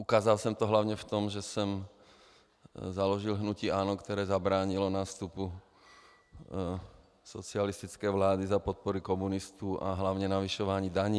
Ukázal jsem to hlavně v tom, že jsem založil hnutí ANO, které zabránilo nástupu socialistické vlády za podpory komunistů a hlavně zvyšování daní.